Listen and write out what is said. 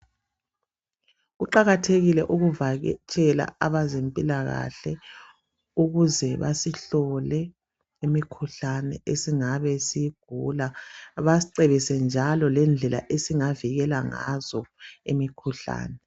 Kuqakathekile ukuvakatshela abezimpilakahle ukuze basihlole imikhuhlane esingabe siyigula basicebise njalo lendlela esingavikela ngazo imikhuhlane.